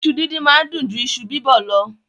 Iṣu díndín máa ń dùn ju iṣu bíbọ̀ lọ.